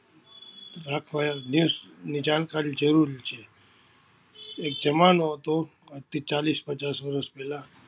રાખવા એમ દેશની જાણકારી જરુરી છે. એક જમાનો હતો આજથી ચાલીસ પચાસ વરસ પહેલા